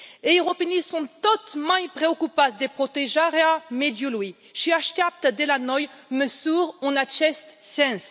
Europenii sunt tot mai preocupați de protejarea mediului și așteaptă de la noi măsuri în acest sens.